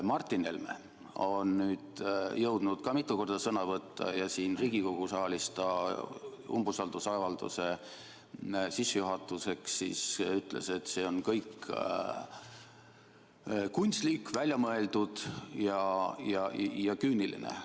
Martin Helme on nüüd jõudnud ka mitu korda sõna võtta ja siin Riigikogu saalis ta ütles umbusaldusavalduse arutuse sissejuhatuseks, et see kõik on kunstlik, välja mõeldud ja küüniline.